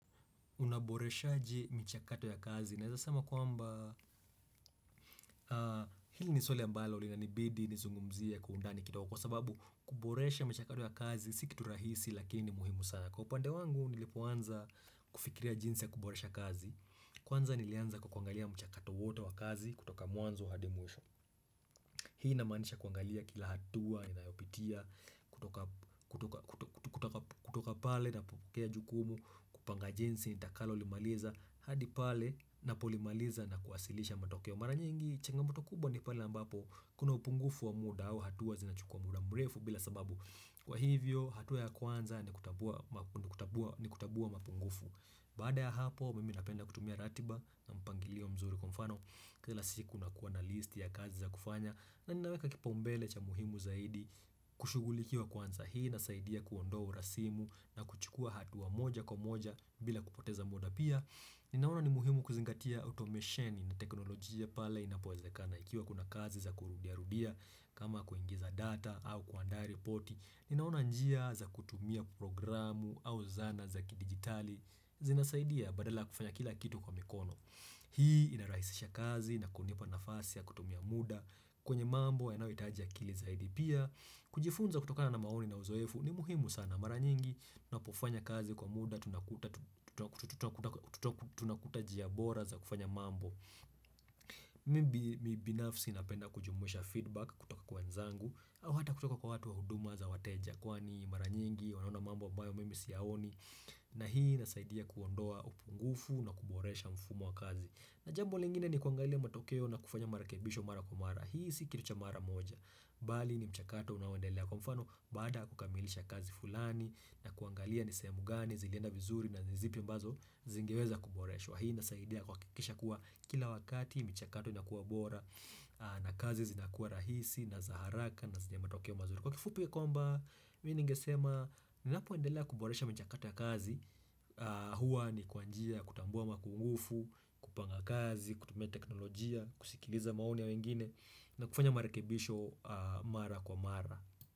Unaboreshaje michakato ya kazi? Naeza sema kwamba hili ni swali ambalo linanibidi nizungumzie kwa undani kidogo, kwa sababu kuboresha michakato ya kazi si kitu rahisi lakini ni muhimu sana. Kwa upande wangu nilipoanza kufikiria jinsi ya kuboresha kazi, kwanza nilianza kwa kuangalia mchakato wote wa kazi kutoka mwanzo hadi mwisho. Hii inamaanisha kuangalia kila hatua inayopitia kutoka kutoka pale napokea jukumu kupanga jinsi nitakalolimaliza hadi pale napolimaliza na kuwasilisha matokeo. Mara nyingi changamoto kubwa ni pale ambapo kuna upungufu wa muda au hatua zinachukua muda mrefu bila sababu. Kwa hivyo hatua ya kwanza ni kutambua mapungufu Baada ya hapo mimi napenda kutumia ratiba na mpangilio mzuri. Kwa mfano kila siku nakuwa na listi ya kazi za kufanya, na ninaweka kipaumbele cha muhimu zaidi kushugulikiwa kwanza. Hii inasaidia kuondoa urasimu, na kuchukua hatua moja kwa moja bila kupoteza muda. Pia Ninaona ni muhimu kuzingatia otomesheni na teknolojia pale inapowezekana ikiwa kuna kazi za kurudiarudia kama kuingiza data au kuandaa ripoti. Ninaona njia za kutumia programu au zana za kidigitali. Zinasaidia badala kufanya kila kitu kwa mikono. Hii inarahisisha kazi na kunipa nafasi ya kutumia muda. Kwenye mambo yanayohitaji akili zaidi. Pia. Kujifunza kutokana na maoni na uzoefu ni muhimu sana. Mara nyingi tunapofanya kazi kwa muda tunakuta jia bora za kufanya mambo. Mimi binafsi napenda kujumuisha feedback kutoka kwa wenzangu, au hata kutoka kwa watu wa huduma za wateja, kwani mara nyingi, wanaona mambo ambayo mimi siyaoni na hii inasaidia kuondoa upungufu na kuboresha mfumo wa kazi. Na jambo lingine ni kuangalia matokeo na kufanya marakebisho mara kwa mara. Hii si kitu cha mara moja Bali ni mchakato unaoendelea. Kwa mfano, baada ya kukamilisha kazi fulani na kuangalia ni sehemu gani zilienda vizuri na ni zipi ambazo zingeweza kuboreshwa. Hii inasaidia kuhakisha kuwa kila wakati, michakato inakuwa bora, na kazi zinakuwa rahisi, na za haraka, na zina matokeo mazuri. Kwa kifupi kwamba, mimi ningesema, ninapoendelea kuboresha michakato ya kazi, huwa ni kwa njia ya kutambua makungufu, kupanga kazi, kutumia teknolojia, kusikiliza maoni ya wengine, na kufanya marekebisho mara kwa mara.